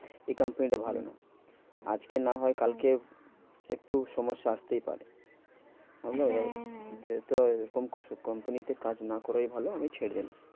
এই company টা ভালো নয়। আজকে না হয় কালকে একটু সমস্যা আসতেই পারে। হ্যাঁ হ্যাঁ হ্যাঁ তো এরকম company তে কাজ না করাই ভালো আমি ছেড়ে দিলাম।